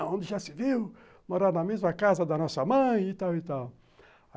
onde já se viu morar na mesma casa da nossa mãe e tal e tal.